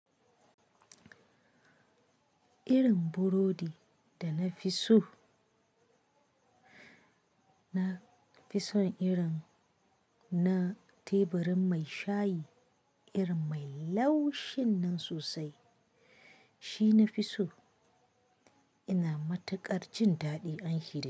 Irin burodi da na fi so, na fi son irin na teburin mai shayi, irin mai laushin nan sosai shi na fi so. Ina matuƙar jin daɗin aiki dashi.